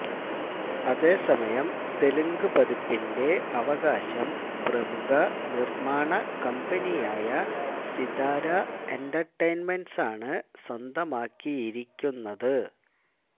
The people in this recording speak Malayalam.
അതേസമയം തെലുങ്ക് പതിപ്പിന്റെ അവകാശം പ്രമുഖ നിര്മാണ കമ്പനിയായ സിതാര എന്റര്ടൈന്മെന്റ്സാണ് സ്വന്തമാക്കിയിരിക്കുന്നത്